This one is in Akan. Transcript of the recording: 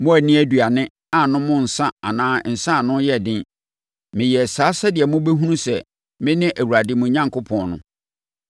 Moanni aduane, annom nsã anaa nsã a ano yɛ den. Meyɛɛ saa sɛdeɛ mobɛhunu sɛ mene Awurade, mo Onyankopɔn, no.